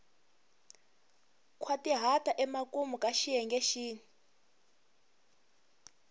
nkhwatihata emakumu ka xiyenge xin